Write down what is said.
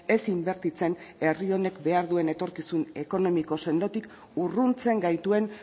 ez inbertitzen herri honek behar duen etorkizun ekonomiko sendotik urruntzen gaituen